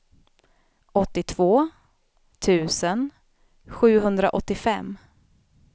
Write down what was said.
åttiotvå tusen sjuhundraåttiofem